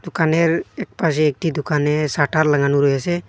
দোকানের একপাশে একটি দোকানে শাটার লাগানো রয়েসে।